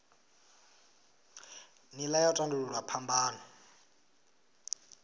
nila ya u tandululwa phambano